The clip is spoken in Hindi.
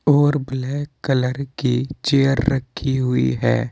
और ब्लैक कलर की चेयर रखी हुई है।